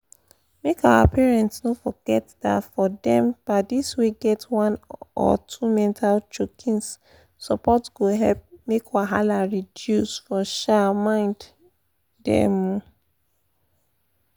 make our parents no forget da for dem padis wey get one or two mental chokins support go help make wahala reduce for um mind um